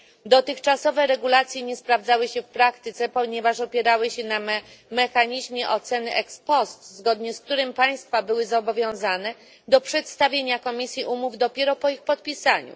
Dotychczasowe regulacje nie sprawdzały się w praktyce, ponieważ opierały się na mechanizmie oceny ex post, zgodnie z którym państwa były zobowiązane do przedstawienia Komisji umów dopiero po ich podpisaniu.